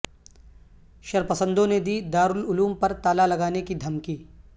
شرپسندوں نے دی دار العلوم پر تالا لگانے کی دھمکی